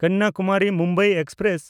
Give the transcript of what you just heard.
ᱠᱚᱱᱱᱟᱠᱩᱢᱟᱨᱤ–ᱢᱩᱢᱵᱟᱭ express